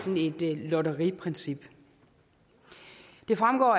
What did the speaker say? et lotteriprincip det fremgår